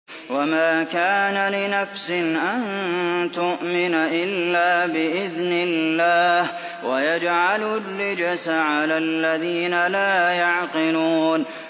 وَمَا كَانَ لِنَفْسٍ أَن تُؤْمِنَ إِلَّا بِإِذْنِ اللَّهِ ۚ وَيَجْعَلُ الرِّجْسَ عَلَى الَّذِينَ لَا يَعْقِلُونَ